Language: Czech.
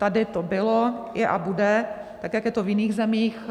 Tady to bylo, je a bude tak, jak je to v jiných zemích.